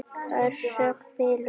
Orsök bilunar?